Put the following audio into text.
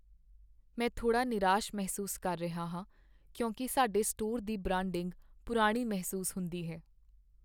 ਮੈਂ ਥੋੜ੍ਹਾ ਨਿਰਾਸ਼ ਮਹਿਸੂਸ ਕਰ ਰਿਹਾ ਹਾਂ ਕਿਉਂਕਿ ਸਾਡੇ ਸਟੋਰ ਦੀ ਬ੍ਰਾਂਡਿੰਗ ਪੁਰਾਣੀ ਮਹਿਸੂਸ ਹੁੰਦੀ ਹੈ।